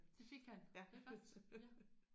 Det fik han det er godt ja